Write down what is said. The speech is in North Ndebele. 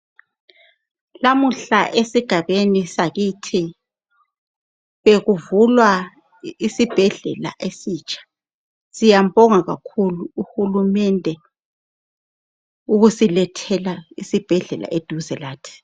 Lamuhla esigabeni sakithi bekuvulwa isibhedlela esitsha. Siyambonga kakhulu uhulumende ukusilethela isibhedlela eduze lathi.